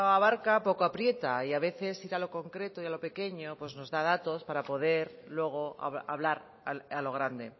abarca poco aprieta y a veces ir a lo concreto y a lo pequeño pues nos da datos para poder luego hablar a lo grande